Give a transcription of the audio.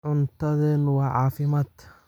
Cuntadeenu waa caafimaad.